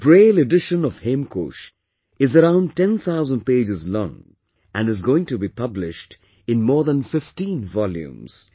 The Braille Edition of Hemkosh is around 10,000 pages long and is going to be published in more than 15 volumes